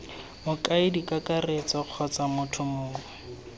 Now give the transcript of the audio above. mokaedi kakaretso kgotsa motho mongwe